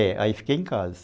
É, aí fiquei em casa.